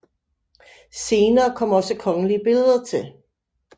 Senere kom også kongelige billeder til